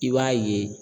I b'a ye